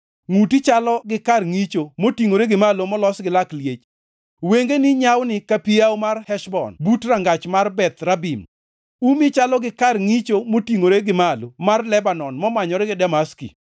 Ngʼuti chalo gi kar ngʼicho motingʼore gi malo molos gi lak liech. Wengeni nyawni ka pi Yawo mar Heshbon but rangach mar Bath Rabim. Umi chalo gi kar ngʼicho motingʼore gi malo mar Lebanon momanyore gi Damaski.